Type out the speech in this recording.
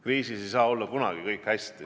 Kriisis ei saa kunagi olla kõik hästi.